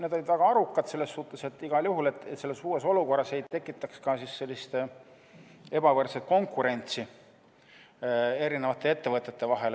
Need olid väga arukad selles suhtes, et igal juhul selles uues olukorras ei tekitataks ebavõrdset konkurentsi erinevate ettevõtete vahel.